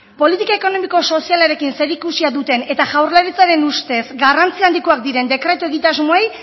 politika ekonomiko sozialarekin zerikusia duten eta jaurlaritzaren ustez garrantzi handikoak diren dekretu egitasmoei